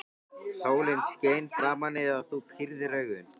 Sólin skein framan í þig og þú pírðir augun.